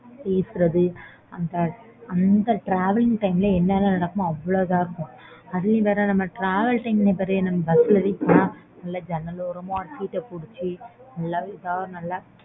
பேசுறது அந்த travelling time ல என்ன எண்ணலாம் நடக்குமோ அவ்ளோ இதா இருக்கும் அதே மாதிரி தான்